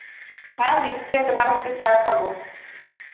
হ্যাঁ নিশ্চই তোমার হাতের চা খাবো